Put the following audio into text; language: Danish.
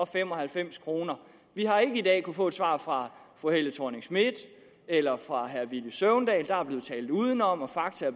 fem og halvfems kroner vi har ikke i dag kunnet få et svar fra fru helle thorning schmidt eller fra herre villy søvndal der er blevet talt udenom og fakta